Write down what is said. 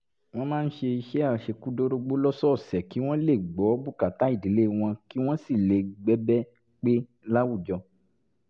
wọ́n máa ń ṣiṣẹ́ àṣekúdórógbó lọ́sọ̀ọ̀sẹ̀ kí wọ́n lè gbọ́ bùkátà ìdílé wọn kí wọ́n sì lè bẹ́gbẹ́ pé láwùjọ